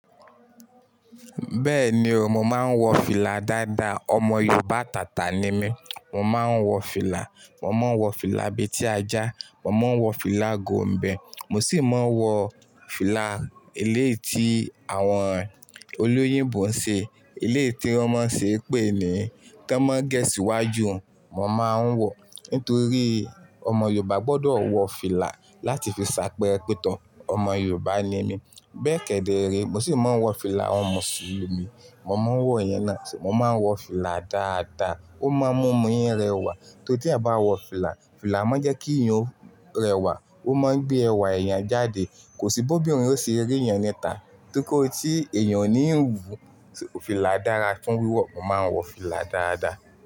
Bẹ́ẹ̀ni o, mo máa ń wọ fìlà dáadáa. Ọmọ Yorùbá àtàtà ni mí. Mo máa ń wọ fìlà. Mo máa ń wọ fìlà abetí ajá, mo máa ń wọ fìlà gombè, mo sì máa ń wọ fìlà Eléyìí tí àwọn olóyìnbo ń ṣe. Eléyìí tí wọ́n máa ń ṣe pé ni tọmọ n gẹ́ síwájú, mo máa ń wọ. Nítorí ọmọ Yorùbá gbọdọ̀ wọ fìlà láti fi ṣàpẹẹrẹ pé tọ̀ọ, ọmọ Yorùbá ni mí. Bẹ́ẹ̀ kẹ́dẹ́ rí, mo sì máa ń wọ fìlà awọ́n Mùsùlùmí, mo máa ń wọ ìyẹn náà sì máa wọ fìlà dáadáa. Ó máa ń mú mí I rẹwà. Torí tí a bá wọ fìlà, fìlà máa ń jẹ́ kí iyàn rẹwà. Ó máa ń gbé ẹwà ẹ̀yàn jáde. Kò sí bó ìbọn o ṣe rí èèyàn ni tá. Nítorí tí èèyàn ò ní ń wú, fìlà dára fún wíwọ̀. Mo máa ń wọ fìlà dáadáa.